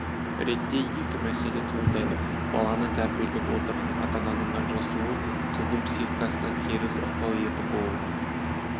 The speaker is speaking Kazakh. ретте екі мәселе туындайды баланы тәрбиелеп отырған ата-ананың ажырасуы қыздың психикасына теріс ықпал етіп ол